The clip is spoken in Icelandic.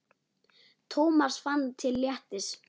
Thomas fann til léttis.